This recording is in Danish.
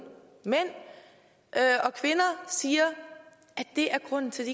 mænd siger er grunden til